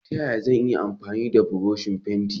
Ta yaya zan iya amfani da buroshi fenti?